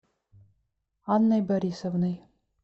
анной борисовной